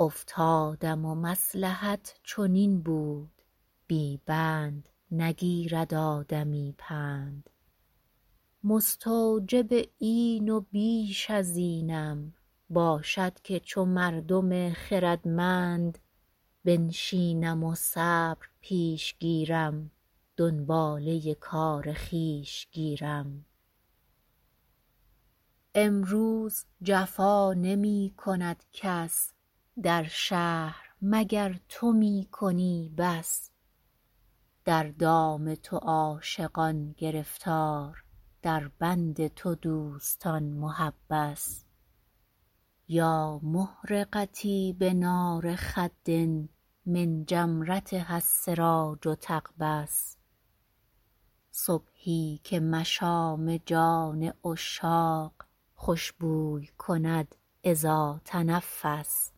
افتادم و مصلحت چنین بود بی بند نگیرد آدمی پند مستوجب این و بیش از اینم باشد که چو مردم خردمند بنشینم و صبر پیش گیرم دنباله کار خویش گیرم امروز جفا نمی کند کس در شهر مگر تو می کنی بس در دام تو عاشقان گرفتار در بند تو دوستان محبس یا محرقتي بنار خد من جمرتها السراج تقبس صبحی که مشام جان عشاق خوش بوی کند إذا تنفس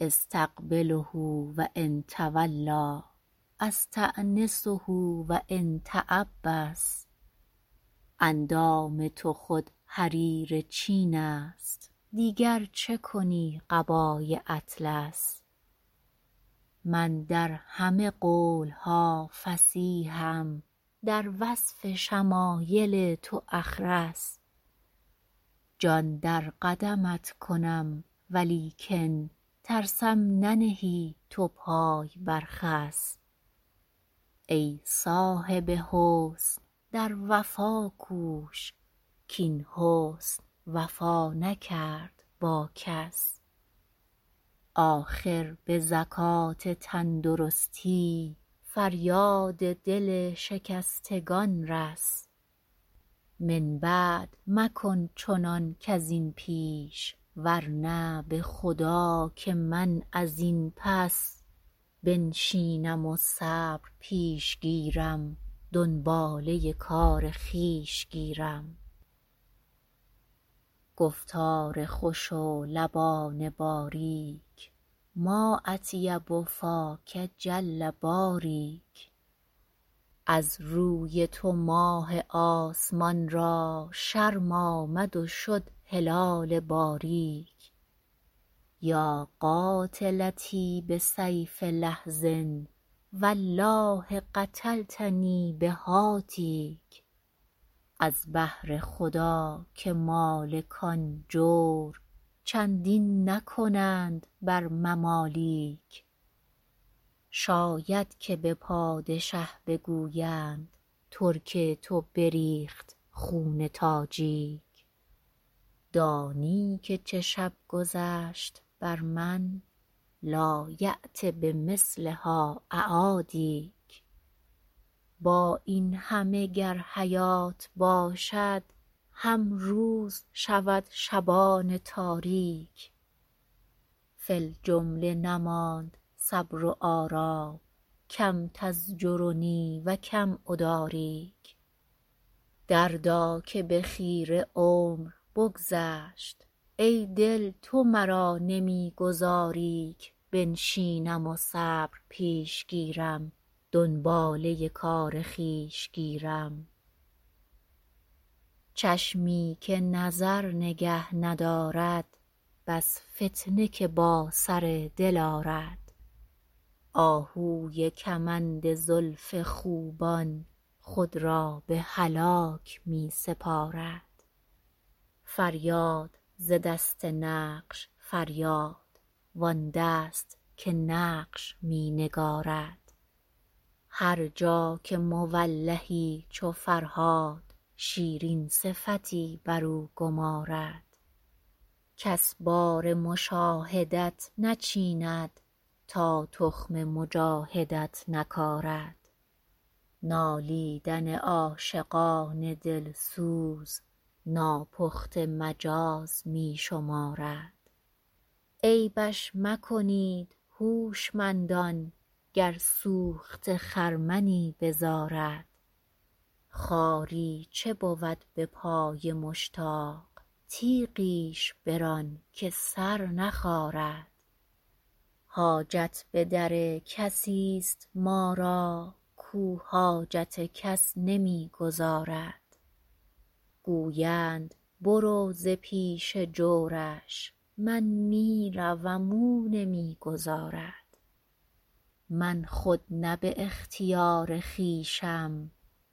أستقبله و إن تولیٰ أستأنسه و إن تعبس اندام تو خود حریر چین است دیگر چه کنی قبای اطلس من در همه قول ها فصیحم در وصف شمایل تو أخرس جان در قدمت کنم ولیکن ترسم ننهی تو پای بر خس ای صاحب حسن در وفا کوش کاین حسن وفا نکرد با کس آخر به زکات تندرستی فریاد دل شکستگان رس من بعد مکن چنان کز این پیش ورنه به خدا که من از این پس بنشینم و صبر پیش گیرم دنباله کار خویش گیرم گفتار خوش و لبان باریک ما أطیب فاک جل باریک از روی تو ماه آسمان را شرم آمد و شد هلال باریک یا قاتلتی بسیف لحظ والله قتلتنی بهاتیک از بهر خدا که مالکان جور چندین نکنند بر ممالیک شاید که به پادشه بگویند ترک تو بریخت خون تاجیک دانی که چه شب گذشت بر من لایأت بمثلها أعادیک با این همه گر حیات باشد هم روز شود شبان تاریک فی الجمله نماند صبر و آرام کم تزجرنی و کم أداریک دردا که به خیره عمر بگذشت ای دل تو مرا نمی گذاری ک بنشینم و صبر پیش گیرم دنباله کار خویش گیرم چشمی که نظر نگه ندارد بس فتنه که با سر دل آرد آهوی کمند زلف خوبان خود را به هلاک می سپارد فریاد ز دست نقش فریاد وآن دست که نقش می نگارد هر جا که مولهی چو فرهاد شیرین صفتی برو گمارد کس بار مشاهدت نچیند تا تخم مجاهدت نکارد نالیدن عاشقان دل سوز ناپخته مجاز می شمارد عیبش مکنید هوشمندان گر سوخته خرمنی بزارد خاری چه بود به پای مشتاق تیغیش بران که سر نخارد حاجت به در کسی ست ما را کاو حاجت کس نمی گزارد گویند برو ز پیش جورش من می روم او نمی گذارد من خود نه به اختیار خویشم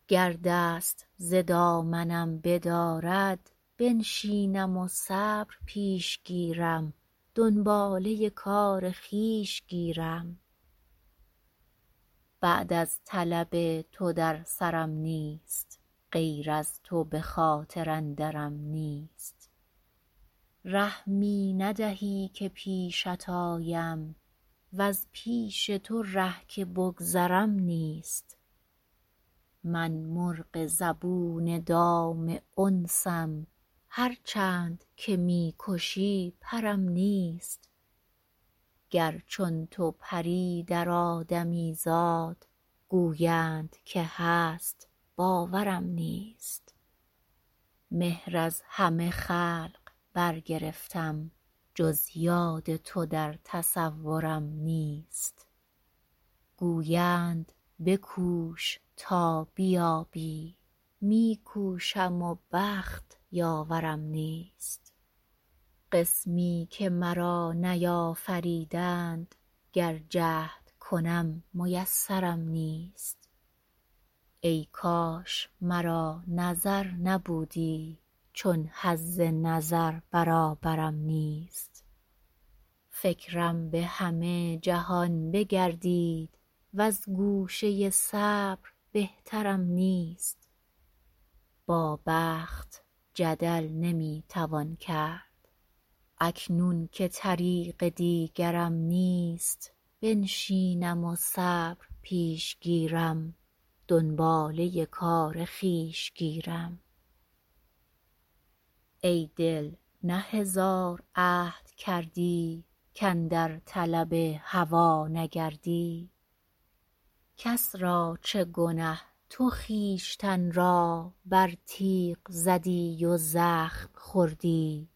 گر دست ز دامنم بدارد بنشینم و صبر پیش گیرم دنباله کار خویش گیرم بعد از طلب تو در سرم نیست غیر از تو به خاطر اندرم نیست ره می ندهی که پیشت آیم وز پیش تو ره که بگذرم نیست من مرغ زبون دام انسم هر چند که می کشی پرم نیست گر چون تو پری در آدمیزاد گویند که هست باورم نیست مهر از همه خلق برگرفتم جز یاد تو در تصورم نیست گویند بکوش تا بیابی می کوشم و بخت یاورم نیست قسمی که مرا نیافریدند گر جهد کنم میسرم نیست ای کاش مرا نظر نبودی چون حظ نظر برابرم نیست فکرم به همه جهان بگردید وز گوشه صبر بهترم نیست با بخت جدل نمی توان کرد اکنون که طریق دیگرم نیست بنشینم و صبر پیش گیرم دنباله کار خویش گیرم ای دل نه هزار عهد کردی کاندر طلب هوا نگردی کس را چه گنه تو خویشتن را بر تیغ زدی و زخم خوردی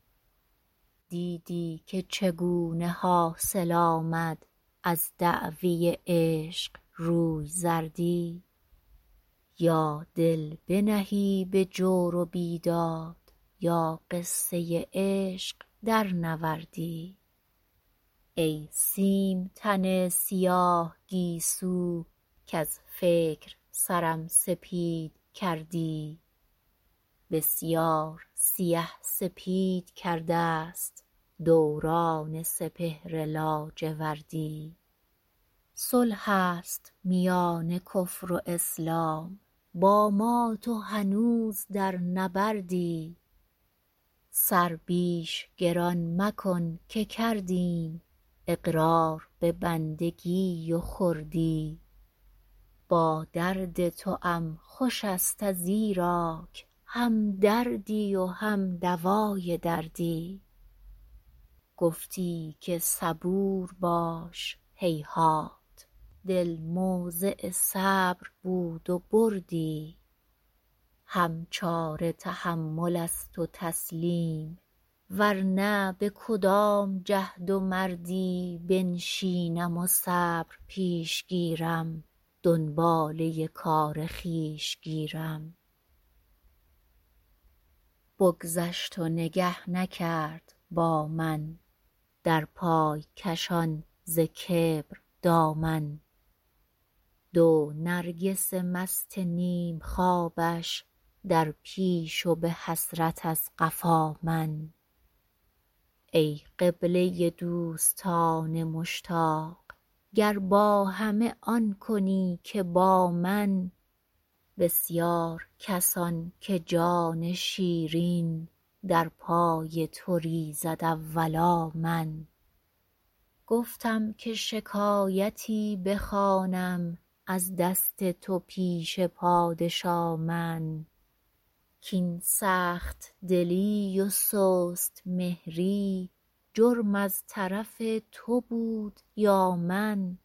دیدی که چگونه حاصل آمد از دعوی عشق روی زردی یا دل بنهی به جور و بیداد یا قصه عشق درنوردی ای سیم تن سیاه گیسو کز فکر سرم سپید کردی بسیار سیه سپید کرده ست دوران سپهر لاجوردی صلح است میان کفر و اسلام با ما تو هنوز در نبردی سر بیش گران مکن که کردیم اقرار به بندگی و خردی با درد توام خوش ست ازیراک هم دردی و هم دوای دردی گفتی که صبور باش هیهات دل موضع صبر بود و بردی هم چاره تحمل است و تسلیم ورنه به کدام جهد و مردی بنشینم و صبر پیش گیرم دنباله کار خویش گیرم بگذشت و نگه نکرد با من در پای کشان ز کبر دامن دو نرگس مست نیم خوابش در پیش و به حسرت از قفا من ای قبله دوستان مشتاق گر با همه آن کنی که با من بسیار کسان که جان شیرین در پای تو ریزد اولا من گفتم که شکایتی بخوانم از دست تو پیش پادشا من کاین سخت دلی و سست مهری جرم از طرف تو بود یا من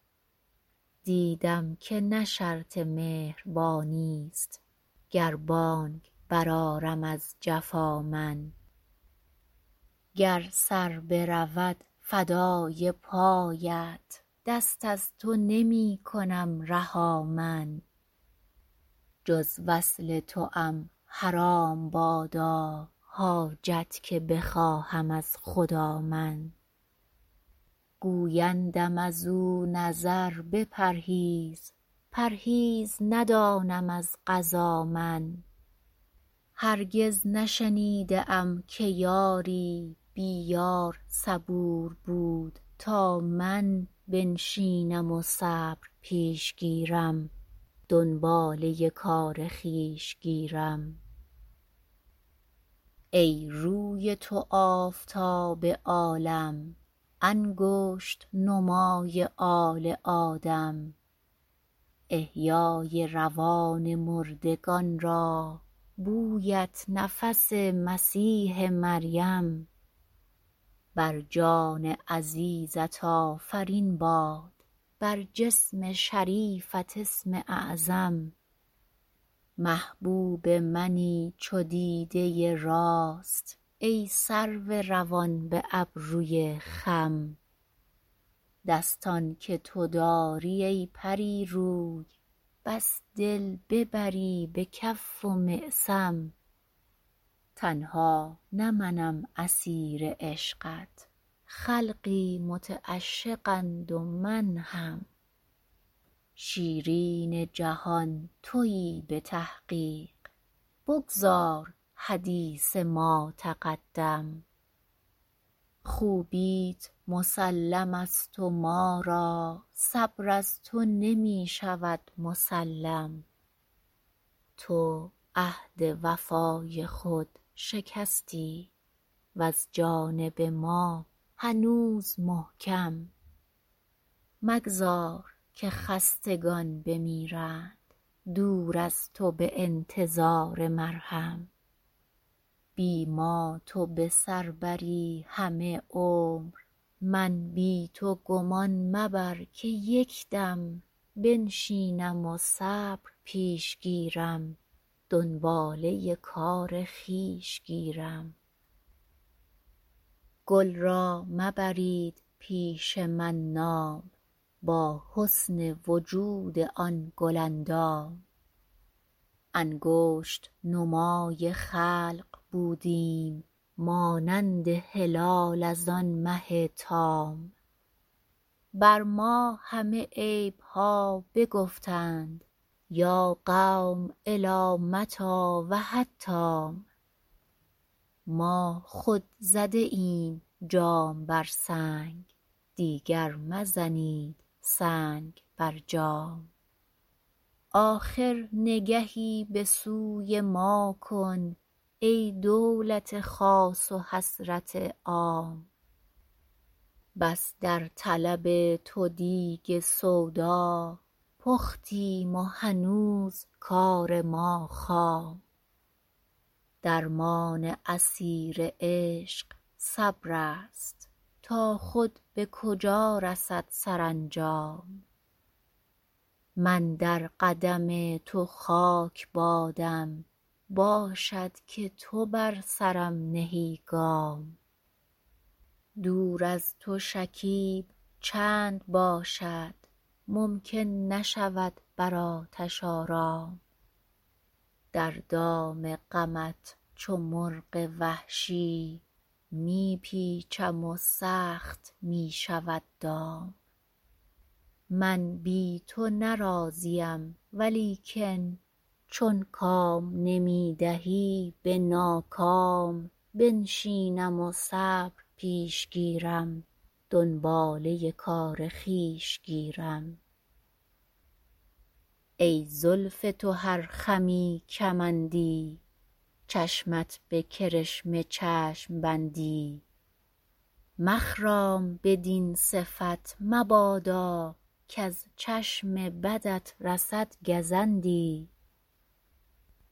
دیدم که نه شرط مهربانی ست گر بانگ برآرم از جفا من گر سر برود فدای پایت دست از تو نمی کنم رها من جز وصل توام حرام بادا حاجت که بخواهم از خدا من گویندم ازو نظر بپرهیز پرهیز ندانم از قضا من هرگز نشنیده ای که یاری بی یار صبور بود تا من بنشینم و صبر پیش گیرم دنباله کار خویش گیرم ای روی تو آفتاب عالم انگشت نمای آل آدم احیای روان مردگان را بویت نفس مسیح مریم بر جان عزیزت آفرین باد بر جسم شریفت اسم اعظم محبوب منی چو دیده راست ای سرو روان به ابروی خم دستان که تو داری ای پری روی بس دل ببری به کف و معصم تنها نه منم اسیر عشقت خلقی متعشقند و من هم شیرین جهان تویی به تحقیق بگذار حدیث ما تقدم خوبیت مسلم ست و ما را صبر از تو نمی شود مسلم تو عهد وفای خود شکستی وز جانب ما هنوز محکم مگذار که خستگان بمیرند دور از تو به انتظار مرهم بی ما تو به سر بری همه عمر من بی تو گمان مبر که یک دم بنشینم و صبر پیش گیرم دنباله کار خویش گیرم گل را مبرید پیش من نام با حسن وجود آن گل اندام انگشت نمای خلق بودیم مانند هلال از آن مه تام بر ما همه عیب ها بگفتند یا قوم إلی متیٰ و حتام ما خود زده ایم جام بر سنگ دیگر مزنید سنگ بر جام آخر نگهی به سوی ما کن ای دولت خاص و حسرت عام بس در طلب تو دیگ سودا پختیم و هنوز کار ما خام درمان اسیر عشق صبرست تا خود به کجا رسد سرانجام من در قدم تو خاک بادم باشد که تو بر سرم نهی گام دور از تو شکیب چند باشد ممکن نشود بر آتش آرام در دام غمت چو مرغ وحشی می پیچم و سخت می شود دام من بی تو نه راضیم ولیکن چون کام نمی دهی به ناکام بنشینم و صبر پیش گیرم دنباله کار خویش گیرم ای زلف تو هر خمی کمندی چشمت به کرشمه چشم بندی مخرام بدین صفت مبادا کز چشم بدت رسد گزندی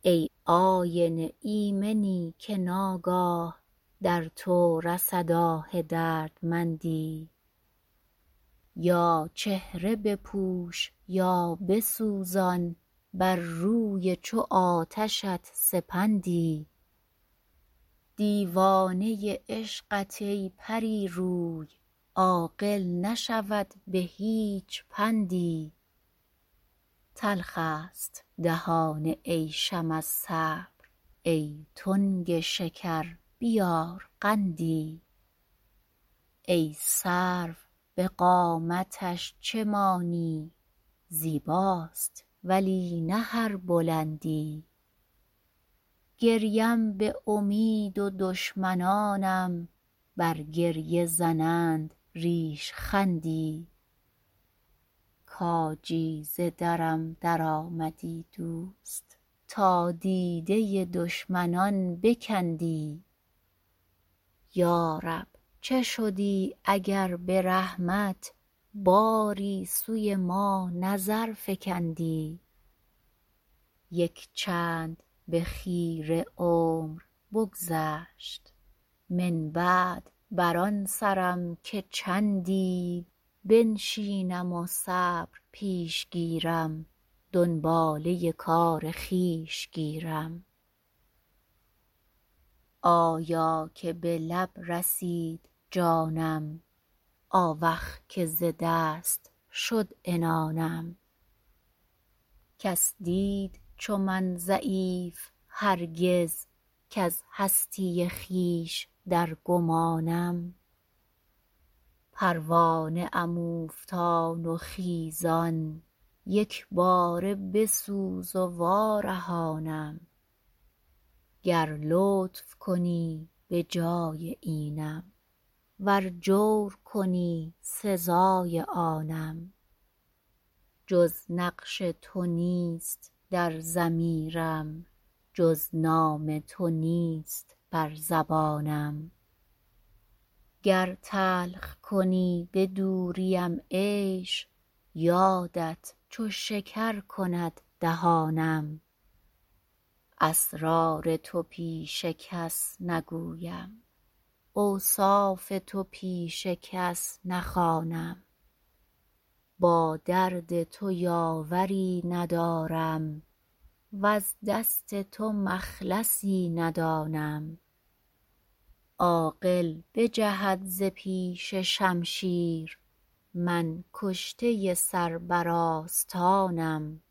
ای آینه ایمنی که ناگاه در تو رسد آه دردمندی یا چهره بپوش یا بسوزان بر روی چو آتشت سپندی دیوانه عشقت ای پری روی عاقل نشود به هیچ پندی تلخ ست دهان عیشم از صبر ای تنگ شکر بیار قندی ای سرو به قامتش چه مانی زیباست ولی نه هر بلندی گریم به امید و دشمنانم بر گریه زنند ریشخندی کاجی ز درم درآمدی دوست تا دیده دشمنان بکندی یا رب چه شدی اگر به رحمت باری سوی ما نظر فکندی یک چند به خیره عمر بگذشت من بعد بر آن سرم که چندی بنشینم و صبر پیش گیرم دنباله کار خویش گیرم آیا که به لب رسید جانم آوخ که ز دست شد عنانم کس دید چو من ضعیف هرگز کز هستی خویش در گمانم پروانه ام اوفتان و خیزان یک باره بسوز و وارهانم گر لطف کنی به جای اینم ور جور کنی سزای آنم جز نقش تو نیست در ضمیرم جز نام تو نیست بر زبانم گر تلخ کنی به دوریم عیش یادت چو شکر کند دهانم اسرار تو پیش کس نگویم اوصاف تو پیش کس نخوانم با درد تو یاوری ندارم وز دست تو مخلصی ندانم عاقل بجهد ز پیش شمشیر من کشته سر بر آستانم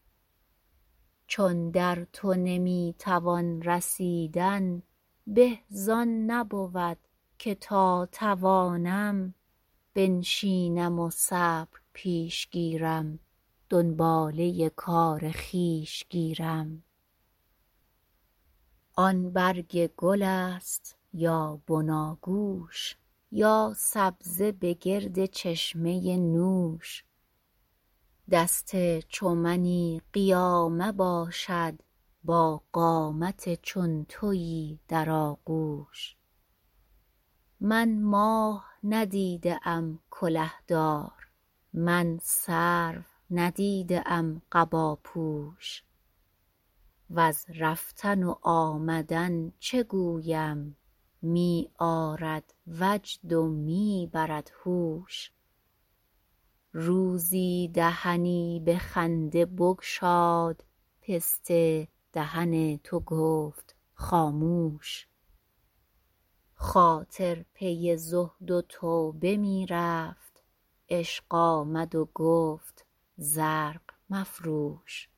چون در تو نمی توان رسیدن به زآن نبود که تا توانم بنشینم و صبر پیش گیرم دنباله کار خویش گیرم آن برگ گل ست یا بناگوش یا سبزه به گرد چشمه نوش دست چو منی قیامه باشد با قامت چون تویی در آغوش من ماه ندیده ام کله دار من سرو ندیده ام قباپوش وز رفتن و آمدن چه گویم می آرد وجد و می برد هوش روزی دهنی به خنده بگشاد پسته دهن تو گفت خاموش خاطر پی زهد و توبه می رفت عشق آمد و گفت زرق مفروش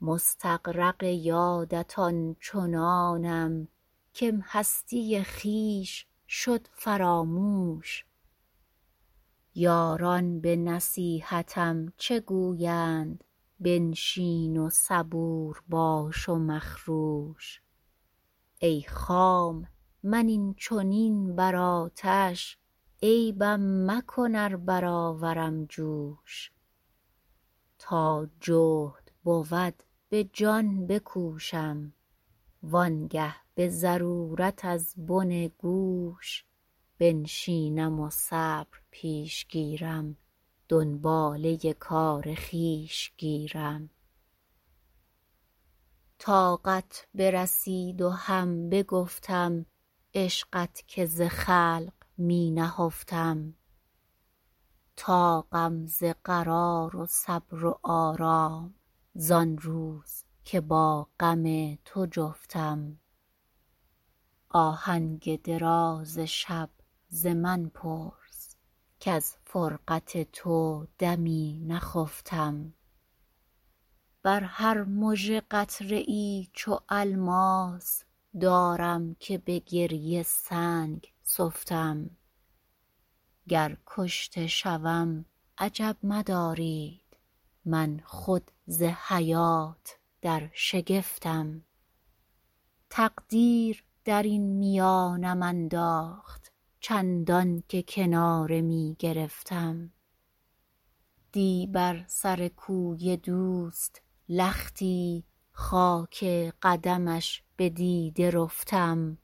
مستغرق یادت آن چنانم کم هستی خویش شد فراموش یاران به نصیحتم چه گویند بنشین و صبور باش و مخروش ای خام من این چنین بر آتش عیبم مکن ار برآورم جوش تا جهد بود به جان بکوشم وآن گه به ضرورت از بن گوش بنشینم و صبر پیش گیرم دنباله کار خویش گیرم طاقت برسید و هم بگفتم عشقت که ز خلق می نهفتم طاقم ز فراق و صبر و آرام زآن روز که با غم تو جفتم آهنگ دراز شب ز من پرس کز فرقت تو دمی نخفتم بر هر مژه قطره ای چو الماس دارم که به گریه سنگ سفتم گر کشته شوم عجب مدارید من خود ز حیات در شگفتم تقدیر درین میانم انداخت چندان که کناره می گرفتم دی بر سر کوی دوست لختی خاک قدمش به دیده رفتم